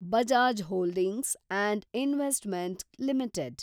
Bajaj holdings and investment limited